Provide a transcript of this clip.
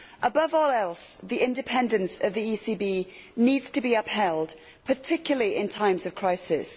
Above all else, the independence of the ECB needs to be upheld, particularly in times of crisis.